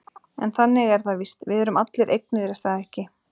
En þannig er það víst, við erum allir eignir er það ekki?